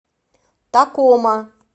такома